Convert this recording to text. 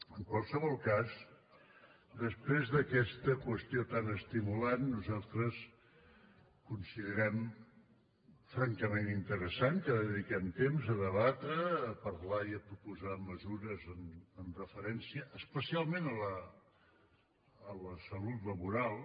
en qualsevol cas després d’aquesta qüestió tan estimulant nosaltres considerem francament interessant que dediquem temps a debatre a parlar i a proposar mesures amb referència especialment a la salut laboral